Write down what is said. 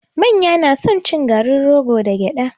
Manya na son cin garin rogo da gyada